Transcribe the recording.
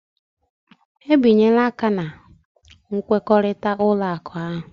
Ebinyela aka na nkwekọrịta ụlọ akụ ahụ?